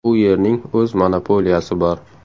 U yerning o‘z monopoliyasi bor.